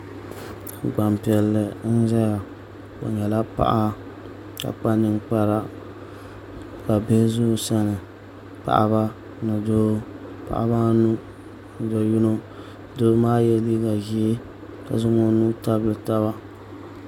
Gbanpiɛlli n ʒɛya o nyɛla paɣa ka kpa ninkpara ka bihi ʒɛ o sani paɣaba ni doo paɣaba anu do yino doo maa yɛla liiga ʒiɛ ka zaŋ o nuu tabili taba